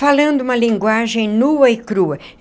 Falando uma linguagem nua e crua.